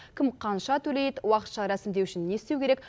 кім қанша төлейді уақытша рәсімдеу үшін не істеу керек